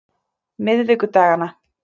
miðvikudagana